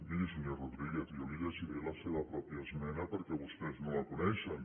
miri senyor rodríguez jo li llegiré la seva pròpia esmena perquè vostès no la coneixen